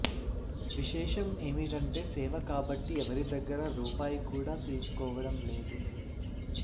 విశేషం ఏమిటంటే సేవ కాబట్టి ఎవరి దగ్గరా రూపాయి కూడా తీసుకోవడం లేదు